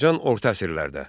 Azərbaycan orta əsrlərdə.